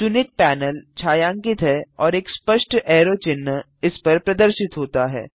चुनित पैनल छायांकित है और एक स्पष्ट ऐरो चिन्ह इस पर प्रदर्शित होता है